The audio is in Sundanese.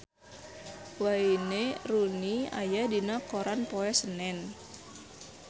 Wayne Rooney aya dina koran poe Senen